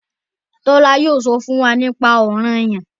Tola yóò sọ fún yín nípa Ọranyan.